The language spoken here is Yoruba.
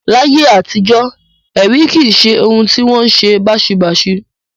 Láyé àtijọ́, ẹ̀rí kì í ṣe ohun tí ó wọn ṣe báṣubàṣu